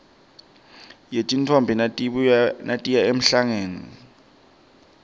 yetintfombi natiya emhlangeni